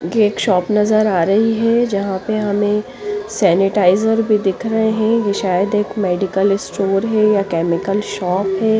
एक शोप नजर आ रही है जहापे हमें सैनिटाइजर भी दिख रहे है ये सायद एक मेडिकल स्टोर है या केमिकल शोप है --